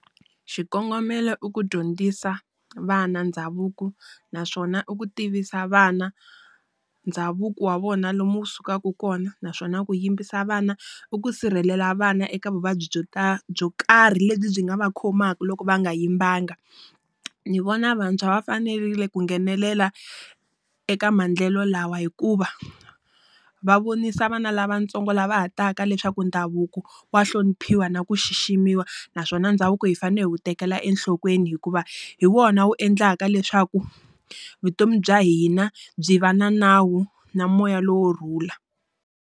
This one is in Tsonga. Xikongomelo i ku dyondzisa vana ndhavuko naswona i ku tivisa vana ndhavuko wa vona lomu wu sukaka kona, naswona ku yimbisa vana u ku sirhelela vana eka vuvabyi byo byo karhi lebyi byi nga va khomaka loko va nga yimbanga. Ni vona vantshwa va fanerile ku nghenelela eka maendlelo lawa hikuva, va vonisa vana lavatsongo lava ha taka leswaku ndhavuko wa hloniphiwa na ku xiximiwa. Naswona ndhavuko hi fanele ku tekela enhlokweni hikuva hi wona wu endlaka leswaku vutomi bya hina byi va na nawu na moya lowo rhula.